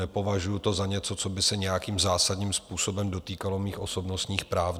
Nepovažuju to za něco, co by se nějakým zásadním způsobem dotýkalo mých osobnostních práv.